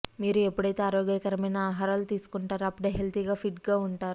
మీరు ఎప్పుడైతే ఆరోగ్యకరమైన ఆహారాలు తీసుకుంటారో అప్పుడే హెల్తీగా ఫిట్ గా ఉంటారు